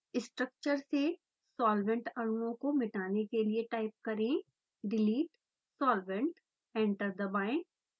structure से solvent अणुओं को मिटने के लिए टाइप करें delete solvent एंटर दबाएँ